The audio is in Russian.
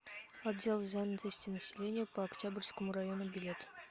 отдел занятости населения по октябрьскому району билет